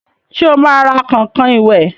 Sẹ́ ó máa ra kọ̀nkọ̀n ìwẹ̀?